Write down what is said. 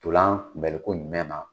Tulan kunbɛliko jumɛn na?